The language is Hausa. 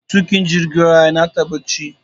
matukin jirgin ruwan yinata bacci